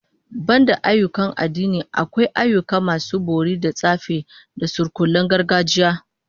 Banda ayyukan addini, akwai ayyukan masu bori da tsafi da surkullen gargajiya